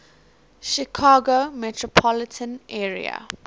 chicago metropolitan area